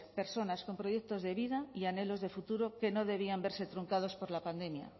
personas con proyectos de vida y anhelos de futuro que no debían verse truncados por la pandemia